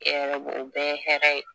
E yɛrɛ b'o bɛɛ hɛrɛ ye